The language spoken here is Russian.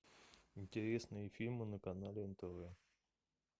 интересные фильмы на канале нтв